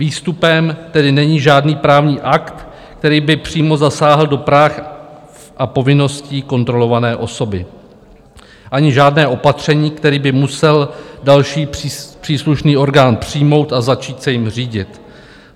Výstupem tedy není žádný právní akt, který by přímo zasáhl do práv a povinností kontrolované osoby, ani žádné opatření, které by musel další příslušný orgán přijmout a začít se jím řídit.